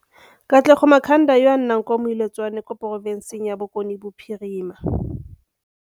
Katlego Makhanda yo a nnang kwa Moiletswane kwa porofenseng ya Bokone Bophirima